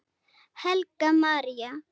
Helga María.